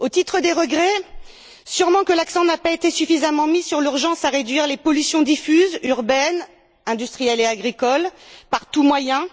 Parmi les regrets, il faut déplorer que l'accent n'a pas été suffisamment mis sur l'urgence à réduire les pollutions diffuses urbaines, industrielles et agricoles, par tous les moyens.